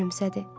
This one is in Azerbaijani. Gülümsədi.